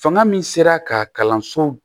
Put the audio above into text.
Fanga min sera ka kalanso